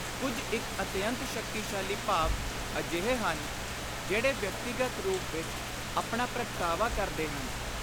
ਕੁਝ ਇਕ ਅਤਿਅੰਤ ਸ਼ਕਤੀਸ਼ਾਲੀ ਭਾਵ ਅਜਿਹੇ ਹਨ ਜਿਹੜੇ ਵਿਅਕਤੀਗਤ ਰੂਪ ਵਿਚ ਆਪਣਾ ਪ੍ਰਗਟਾਵਾ ਕਰਦੇ ਹਨ।